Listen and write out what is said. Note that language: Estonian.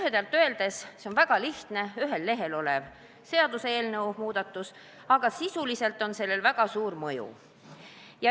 Lühidalt öeldes: see on väga lihtne, ühel lehel olev seaduseelnõu, aga sisuliselt on sellel väga suur mõju.